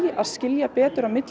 að skilja betur á milli